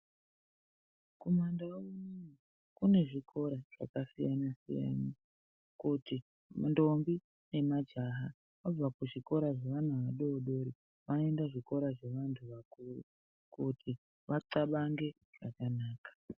Kumandau unono kune zvikora zvakasiyana siyana kuti ndombi nemajaha vabva kuzvikora zvevana vadodori vanoenda zvevanhu vakuru kuti vanxabange zvakanaka.